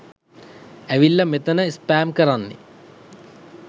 ඇවිල්ල මෙතැන ස්පෑම් කරන්නෙ